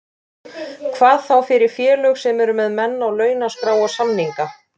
Hvað þá fyrir félög sem eru með menn á launaskrá og samninga.